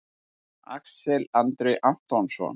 Axel Andri Antonsson